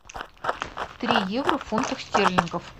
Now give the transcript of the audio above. три евро в фунтах стерлингов